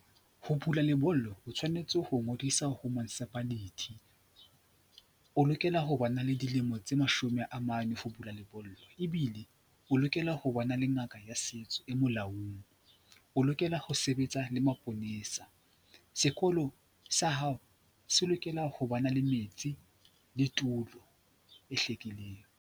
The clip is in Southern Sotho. Ho bula lebollo o tshwanetse ho ngodisa ho municipality. O lokela ho ba na le dilemo tse mashome a mane ho bula lebollo ebile o lokela ho le ngaka ya setso e molaong, o lokela ho sebetsa le maponesa. Sekolo sa hao se lokela ho ba na le metsi le tulo e hlwekileng.